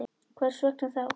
Hvers vegna þá?